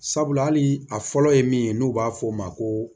Sabula hali a fɔlɔ ye min ye n'u b'a fɔ o ma ko